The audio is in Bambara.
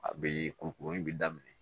A bɛ kurukuru in bɛ daminɛ